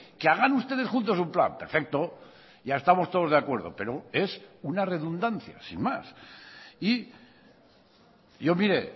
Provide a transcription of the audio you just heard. que hagan ustedes juntos un plan perfecto ya estamos todos de acuerdo pero es una redundancia sin más y yo mire